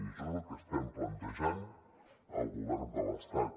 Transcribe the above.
i això és el que estem plantejant al govern de l’estat